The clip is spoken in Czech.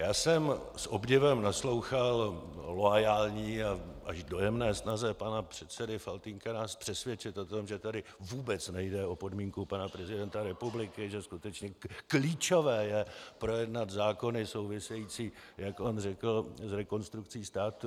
Já jsem s obdivem naslouchal loajální a až dojemné snaze pana předsedy Faltýnka nás přesvědčit o tom, že tady vůbec nejde o podmínku pana prezidenta republiky, že skutečně klíčové je projednat zákony související, jak on řekl, s Rekonstrukcí státu.